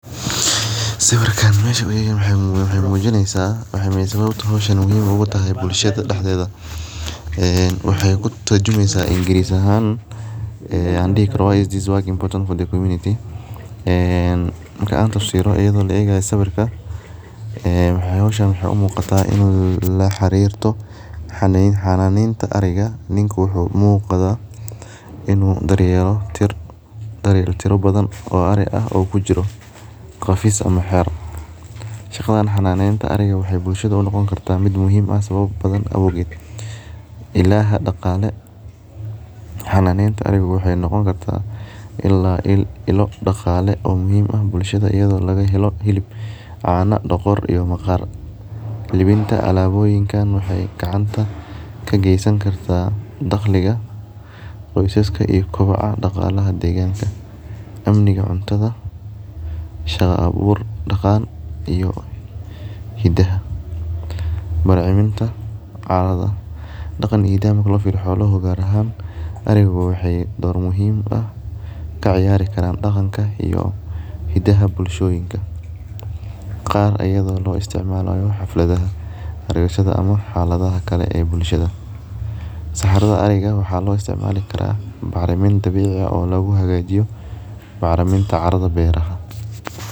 Sawirkan waxee mujiineysaa ee sawabta muhiim ee ogu tahay bulshaada daxdedha ee waxee kuturjumeysa ingiris ahan ee an dihi karo why is this work important to the community ee marka an tafsiro iyada oo la egayo sawirka waxee hoshan u muqataa in la xarirto xananeta ariga niku wuxuu u muqdaa in u daryeelo tiro badan oo ari ah oo kujira qafis ama xero shaqadan xananeta bulshaada waxee u noqoni kartaa sawaba badan oge daqale xananeta ariga waxee noqoni kartaa iyada oo laga helo cana hilib iyo dogor lawinta alaboyinkan waxee gacanta kagesankartaa daqliga qosaska iyo kobacaha daqliga deganka amniga cuntadha shaqa abur daqal iyo hidaha daqanka hidaha marki lo firiyo xolaha ariga waxee dir muhiim ah ka ciyari karan hidaha iyo daqanka bulshoyinka qar ayada oo lo isticmalayo xalfadaha, ama xaladhaha kale ee bulshaada saxarada ariga waxa lo istimali karaa bacrimin dabici oo lagu hagajiyo bacriminta caradha beera.